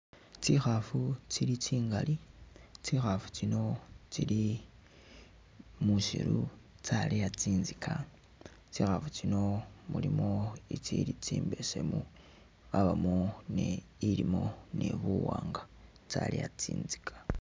Tsikhaafu tsili tsingali, tsikhaafu tsino tsili muusiru, tsaleya tsinzika, tsikhaafu tsino mulimo itsili tsimbesemu, yabamo ni ilimo ni buwaanga, tsaleya tsinzika.